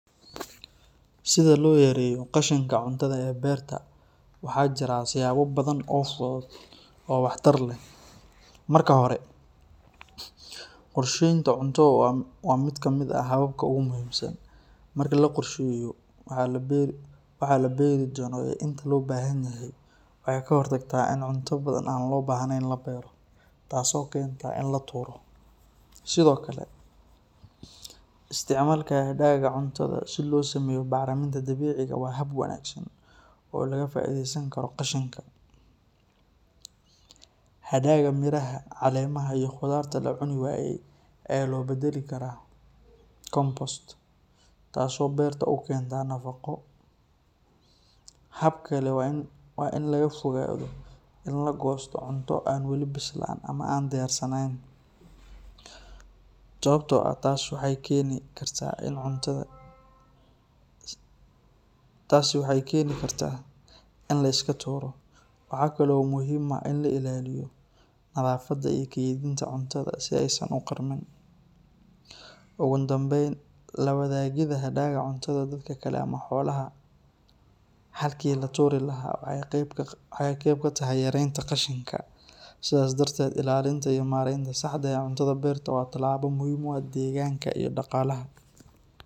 Sida loo yareeyo qashinka cuntada ee beerta waxaa jira siyaabo badan oo fudud oo waxtar leh. Marka hore, qorsheynta cunto waa mid ka mid ah hababka ugu muhiimsan. Marka la qorsheeyo waxa la beeri doono iyo inta loo baahan yahay, waxay ka hortagtaa in cunto badan oo aan loo baahnayn la beero taasoo keenta in la tuuro. Sidoo kale, isticmaalka hadhaaga cuntada si loo sameeyo bacriminta dabiiciga ah waa hab wanaagsan oo laga faa’iideysan karo qashinka. Hadhaaga miraha, caleemaha, iyo khudaarta la cuni waayey ayaa loo beddeli karaa compost, taasoo beerta u keenta nafaqo. Hab kale waa in laga fogaado in la goosto cunto aan wali bislaan ama aan diyaarsanayn, sababtoo ah taas waxay keeni kartaa in la iska tuuro. Waxaa kale oo muhiim ah in la ilaaliyo nadaafadda iyo kaydinta cuntada si aysan u qarmiin. Ugu dambayn, la wadaagidda hadhaaga cuntada dadka kale ama xoolaha, halkii lagu tuuri lahaa, waxay qayb ka tahay yareynta qashinka. Sidaas darteed, ilaalinta iyo maaraynta saxda ah ee cuntada beerta waa tallaabo muhiim u ah deegaanka iyo dhaqaalaha.